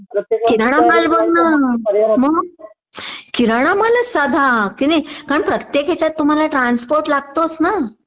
किराणामाल बघ ना मग किराणामालाच्या साधा कारण प्रत्येक हेच्यात तुम्हला ट्रान्सपोर्ट लागतोच ना